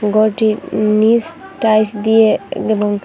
ঘরটির নীস টাইস দিয়ে এবং--